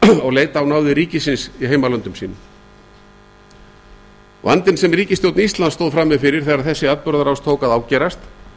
og leita á náðir ríkisins í heimalöndum sínum vandinn sem ríkisstjórn íslands stóð frammi fyrir þegar þessi atburðarás tók að ágerast